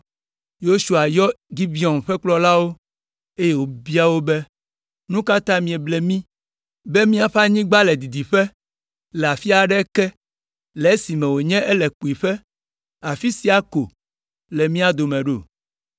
Yosua yɔ Gibeon ƒe kplɔlawo, eye wòbia wo be, “Nu ka ta mieble mí be miaƒe anyigba le didiƒe, le afi aɖe ke, le esime wònye ele kpuiƒe, afi sia ko le mía dome ɖo?